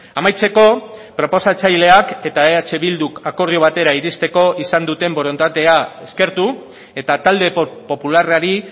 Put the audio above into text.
amaitzeko proposatzaileak eta eh bilduk akordio batera iristeko izan duten borondatea eskertu eta talde popularrari